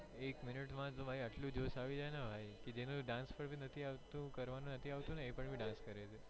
એક મિનિટ માં તો એટલો જોશ આવીજાય ને ભાઈ જે dance નથી કરવાનું નથી આવતું ને એ પણ dance કરે છે